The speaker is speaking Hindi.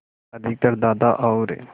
अधिकतर दादा और